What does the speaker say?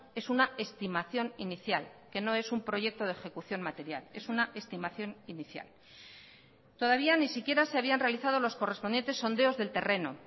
es una estimación inicial que no es un proyecto de ejecución material es una estimación inicial todavía ni siquiera se habían realizado los correspondientes sondeos del terreno